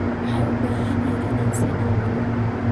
Waxaan u baahanahay inaan is aamino.